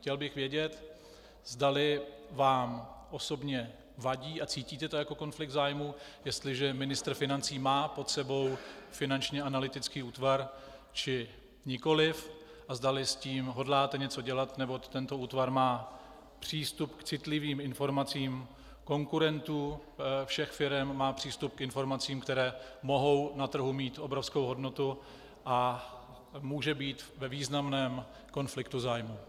Chtěl bych vědět, zdali vám osobně vadí a cítíte to jako konflikt zájmu, jestliže ministr financí má pod sebou Finanční analytický útvar, či nikoliv, a zdali s tím hodláte něco dělat, neboť tento útvar má přístup k citlivým informacím konkurentům všech firem, má přístup k informacím, které mohou na trhu mít obrovskou hodnotu, a může být ve významném konfliktu zájmu.